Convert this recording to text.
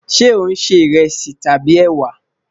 Ṣe o n ṣe iresi tabi ewa?